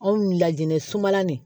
Anw lajɛlen sumalan nin